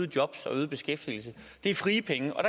jobs og øget beskæftigelse det er frie penge og